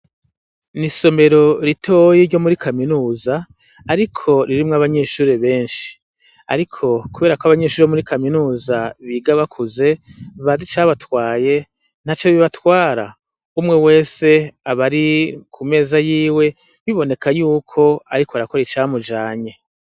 Isomero ritoyi ryo muri kaminuza, ariko ririmwo abanyeshure benshi ,ariko kuberako abanyeshure bo muri kaminuza biga bakuze, bazi icabatwaye ntaco bibatwara, umwe wese abari kumeza yiwe biboneka yuko ariko arakora ica mujanye.